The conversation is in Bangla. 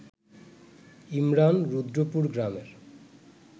ইমরান রুদ্রপুর গ্রামের